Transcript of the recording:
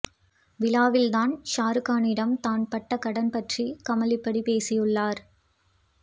விழாவில் தான் ஷாரூக்கானிடம் தான் பட்ட கடன் பற்றி கமல் இப்படி பேசியுள்ளார்